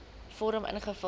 vorm invul